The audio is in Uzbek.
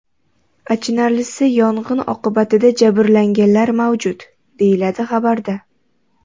Achinarlisi yong‘in oqibatida jabrlanganlar mavjud”, deyiladi xabarda.